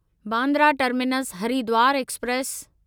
Bandra terminus Haridwar express